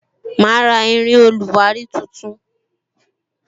Ma ra irin oluwari tuntun